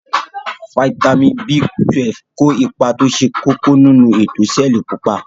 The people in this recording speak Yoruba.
Fítàmì B12 ko ipa to se koko ninu eto seeli pupa.